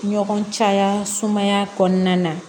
Ɲɔgɔn caya sumaya kɔnɔna na